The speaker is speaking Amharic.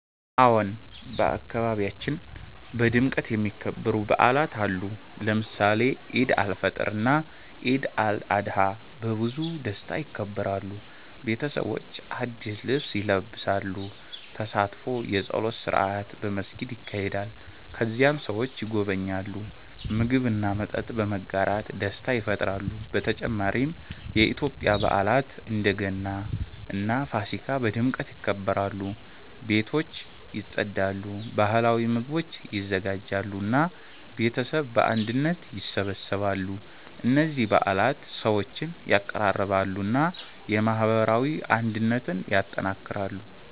አዎን፣ በአካባቢያችን በድምቀት የሚከበሩ በዓላት አሉ። ለምሳሌ ኢድ አልፈጥር እና ኢድ አልአድሃ በብዙ ደስታ ይከበራሉ። ቤተሰቦች አዲስ ልብስ ይለብሳሉ፣ ተሳትፎ የጸሎት ስርዓት በመስጊድ ይካሄዳል። ከዚያም ሰዎች ይጎበኛሉ፣ ምግብ እና መጠጥ በመጋራት ደስታ ይፈጥራሉ። በተጨማሪ የኢትዮጵያ በዓላት እንደ ገና እና ፋሲካ በድምቀት ይከበራሉ። ቤቶች ይጸዳሉ፣ ባህላዊ ምግቦች ይዘጋጃሉ እና ቤተሰብ በአንድነት ይሰበሰባሉ። እነዚህ በዓላት ሰዎችን ያቀራርባሉ እና የማህበራዊ አንድነትን ያጠናክራሉ።